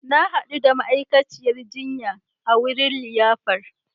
Na hadu da ma'aikaciyar jinya a wurin liyafar